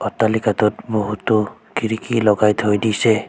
অট্টালিকাটোত বহুতো খিৰিকী লগাই থৈ দিছে।